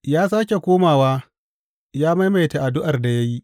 Ya sāke komawa, ya maimaita addu’ar da ya yi.